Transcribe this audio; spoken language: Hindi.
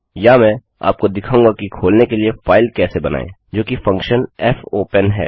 या मैं आपको क्या दिखाऊँगा कि खोलने के लिए फाइल कैसे बनाएँ जोकि फंक्शन फोपेन है